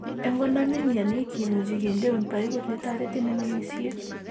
En konome mioni kimuche kindeun piput ne toretin en omisiet.